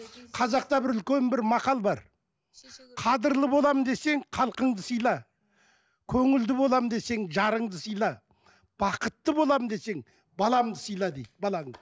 қазақта бір үлкен бір мақал бар қадірлі боламын десең халқыңды сыйла көңілді боламын десең жарыңды сылай бақытты боламын десең балаңды сыйла дейді балаңды